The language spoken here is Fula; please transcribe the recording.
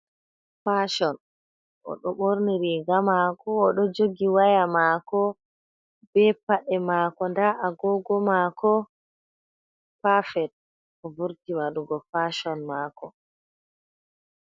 Fashon oɗo ɓorni riga mako oɗo jogi waya mako ,ɓe paɗe mako ɗa a gogo mako pafet, o vurti waɗugo fashon mako.